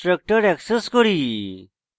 তারপর destructor access করি